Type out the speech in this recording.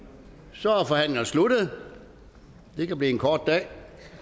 så er forhandlingen sluttet det kan blive en kort dag